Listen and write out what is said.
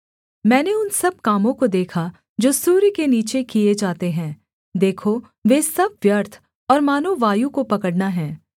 मैंने उन सब कामों को देखा जो सूर्य के नीचे किए जाते हैं देखो वे सब व्यर्थ और मानो वायु को पकड़ना है